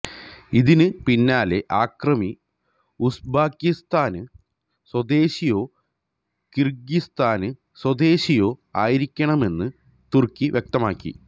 ഇതിന് പിന്നാലെ അക്രമി ഉസ്ബക്കിസ്ഥാന് സ്വദേശിയോ കിര്ഗിസ്ഥാന് സ്വദേശിയോ ആയിരിക്കാമെന്ന് തുര്ക്കി വ്യക്തമാക്കി